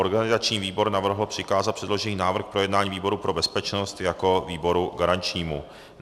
Organizační výbor navrhl přikázat předložený návrh k projednání výboru pro bezpečnost jako výboru garančnímu.